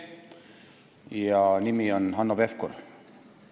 Selle inimese nimi on Hanno Pevkur.